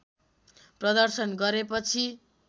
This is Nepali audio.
प्रदर्शन गरेपछि